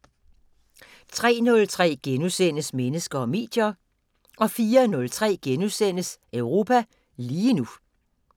03:03: Mennesker og medier * 04:03: Europa lige nu *